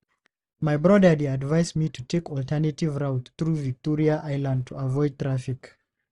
My brother dey advise me to take alternative route through Victoria Island to avoid traffic.